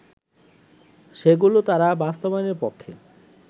সেগুলো তারা বাস্তবায়নের পক্ষে